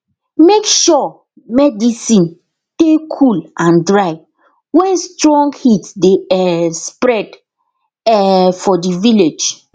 make sure medicin dey cool and dry wen strong heat dey um spread um for di village